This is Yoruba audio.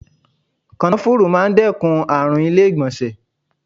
Kànáfùrú máa ń dẹ́kun àrùn ilé ìgbọ̀nsẹ̀.